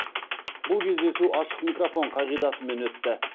бұл кездесу ашық микрофон қағидатымен өтті